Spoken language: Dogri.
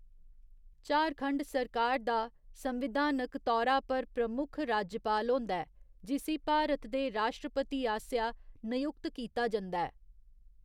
झारखंड सरकार दा संविधानक तौरा पर प्रमुख राज्यपाल होंदा ऐ, जिसी भारत दे राश्ट्रपति आसेआ नयुक्त कीता जंदा ऐ।